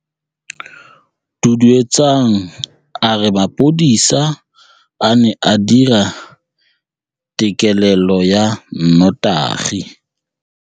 Duduetsang a re mapodisa a ne a dira têkêlêlô ya nnotagi.